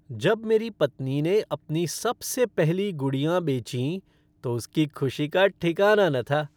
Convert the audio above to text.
जब मेरी पत्नी ने अपनी सबसे पहली गुड़ियाँ बेचीं तो उसकी खुशी का ठिकाना न था।